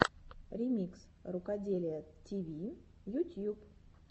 ремикс рукоделия тиви ютьюб